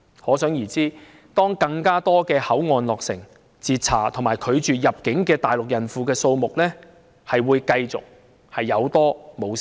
可想而知，當更多口岸落成，被截查和被拒絕入境的大陸孕婦數目將會繼續有增無減。